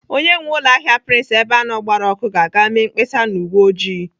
Onye nwee ụlọahịa prince Ebeano gbara ọkụ ga-aga mee mkpesa na uwe oji.